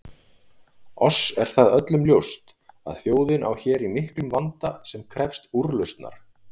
Oss er það öllum ljóst að þjóðin á hér í miklum vanda sem krefst úrlausnar.